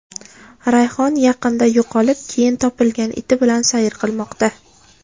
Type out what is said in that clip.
Rayhon yaqinda yo‘qolib, keyin topilgan iti bilan sayr qilmoqda.